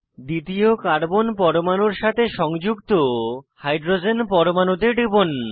দ্বিতীয় কার্বন পরমাণুর সাথে সংযুক্ত হাইড্রোজেন পরমাণুতে টিপুন